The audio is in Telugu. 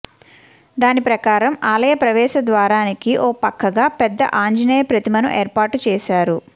దాని ప్రకారం ఆలయ ప్రవేశ ద్వారానికి ఓ పక్కగా పెద్ద ఆంజనేయ ప్రతిమను ఏర్పాటు చేశారు